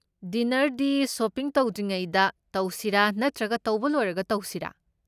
ꯗꯤꯅꯔꯗꯤ shopping ꯇꯧꯗ꯭ꯔꯤꯉꯩꯗ ꯇꯧꯁꯤꯔꯥ ꯅꯠꯇ꯭ꯔꯒ ꯇꯧꯕ ꯂꯣꯏꯔꯒ ꯇꯧꯁꯤꯔꯥ?